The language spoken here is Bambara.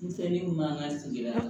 Denmisɛnnin man ka sigida